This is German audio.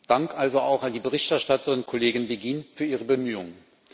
Dank also auch an die Berichterstatterin, Kollegin Beghin, für ihre Bemühungen.